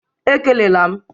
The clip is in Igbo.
Ekele la m!